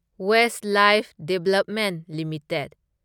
Westlife development limited